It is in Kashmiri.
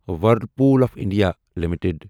Whirlpool of India limited